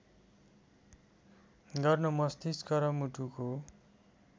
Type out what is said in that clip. गर्न मस्तिष्क र मुटुको